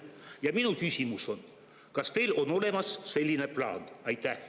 Ja minu küsimus on: kas teil on olemas selline plaan?